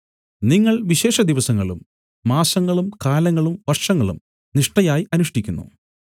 നിങ്ങൾ വിശേഷദിവസങ്ങളും മാസങ്ങളും കാലങ്ങളും വർഷങ്ങളും നിഷ്ഠയായി അനുഷ്ഠിക്കുന്നു